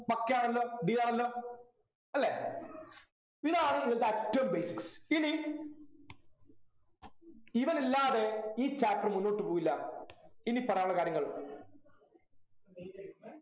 okay ആണല്ലോ deal ആണല്ലോ അല്ലെ ഇതാണ് ഇന്നത്തെ ഏറ്റവും basics ഇനി ഇവനില്ലാതെ ഈ Chapter മുന്നോട്ട് പോവില്ല ഇനി പറയാനുള്ള കാര്യങ്ങൾ